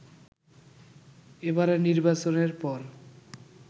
এবারের নির্বাচনের পর